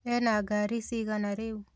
Ena ngari cigana rĩu?